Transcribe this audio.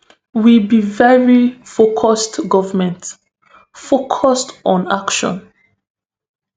we be veri focused govment focused on action